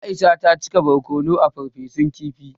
Aisha ta cika barkono a farfesun kifin.